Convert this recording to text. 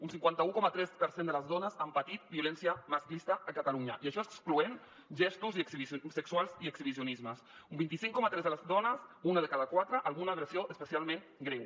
un cinquanta un coma tres per cent de les dones han patit violència masclista a catalunya i això excloent gestos sexuals i exhibicionismes un vint cinc coma tres de les dones una de cada quatre alguna agressió especialment greu